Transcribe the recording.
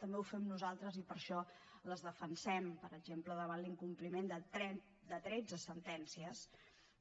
també ho fem nosaltres i per això les defensem per exemple davant l’incompliment de tretze sentències